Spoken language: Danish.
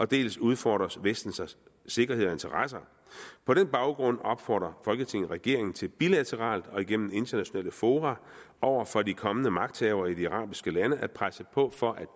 dels udfordres vestens sikkerhed og interesser på den baggrund opfordrer folketinget regeringen til bilateralt og igennem internationale fora over for de kommende magthavere i de arabiske lande at presse på for at